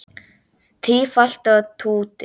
Tífall og Tútur